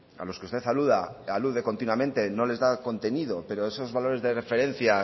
a los que usted alude continuamente no les da contenido pero esos valores de referencia